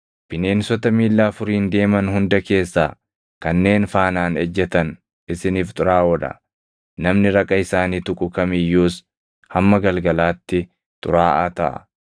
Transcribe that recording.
Bineensota miilla afuriin deeman hunda keessaa kanneen faanaan ejjetan isiniif xuraaʼoo dha; namni raqa isaanii tuqu kam iyyuus hamma galgalaatti xuraaʼaa taʼa.